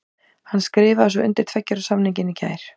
Hann skrifaði svo undir tveggja ára samningin í gær.